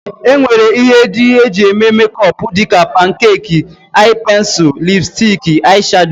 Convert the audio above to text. E nwere ihe ndị e jị eme mekọp dịka, pankek, aị pensil, lipstik, aị shado.